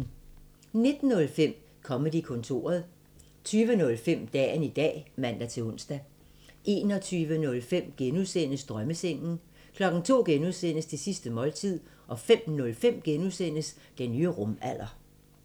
19:05: Comedy-kontoret 20:05: Dagen i dag (man-ons) 21:05: Drømmesengen (G) 02:00: Det sidste måltid (G) 05:05: Den nye rumalder (G)